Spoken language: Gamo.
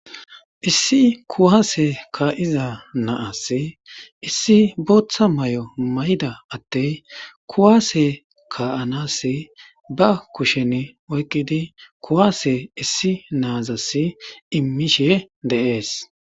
issi kuwaase kka'iza naassi issi booththa may'o may'ada atte kuwaase ka7anasi ba kushen oykkidi kuwaase issi naazasi immishe de7ees